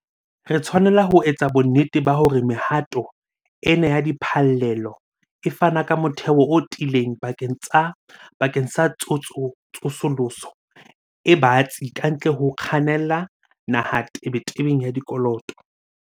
Re tshwanela ho etsa bonnete ba hore mehato ena ya diphallelo e fana ka motheo o tiileng bakeng sa tsosoloso e batsi kantle ho ho kgannela naha tebetebeng ya dikoloto.